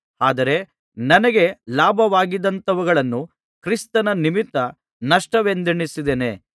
ಆದರೆ ನನಗೆ ಲಾಭವಾಗಿದ್ದಂಥವುಗಳನ್ನು ಕ್ರಿಸ್ತನ ನಿಮಿತ್ತ ನಷ್ಟವೆಂದೆಣಿಸಿದ್ದೇನೆ